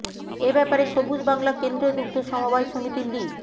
এ ব্যাপারে সবুজ বাংলা কেন্দ্রীয় দুগ্ধ সমবায় সমিতি লি